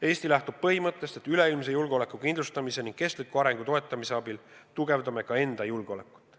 Eesti lähtub põhimõttest, et üleilmse julgeoleku kindlustamise ning kestliku arengu toetamise abil tugevdame ka enda julgeolekut.